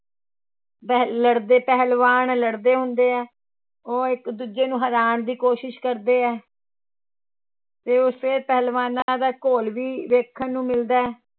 ਪਹਿ ਲੜਦੇ ਪਹਿਲਵਾਨ ਲੜਦੇ ਹੁੰਦੇ ਹੈ ਉਹ ਇੱਕ ਦੂਜੇ ਨੂੰ ਹਰਾਉਣ ਦੀ ਕੋਸ਼ਿਸ਼ ਕਰਦੇ ਹੈ ਤੇ ਉਸੇ ਪਹਿਲਵਾਨਾਂ ਦਾ ਘੋਲ ਵੀ ਵੇਖਣ ਨੂੰ ਮਿਲਦਾ ਹੈ